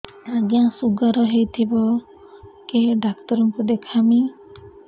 ଆଜ୍ଞା ଶୁଗାର ହେଇଥିବ କେ ଡାକ୍ତର କୁ ଦେଖାମି